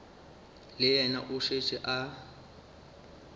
le yena o šetše a